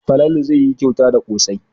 Falalu zai yi kyauta da ƙosai.